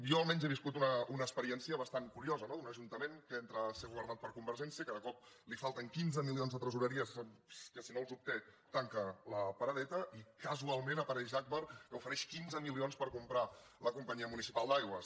jo almenys he viscut una experiència bastant curiosa no d’un ajuntament que entra a ser governat per convergència que de cop li falten quinze milions de tresoreria que si no els obté tanca la paradeta i casualment apareix agbar que ofereix quinze milions per comprar la companyia municipal d’aigües